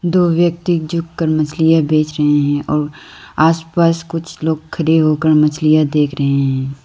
दो व्यक्ति झुक कर मछलियां बेच रहे हैं और आसपास कुछ लोग खड़े होकर मछलियां देख रहे हैं।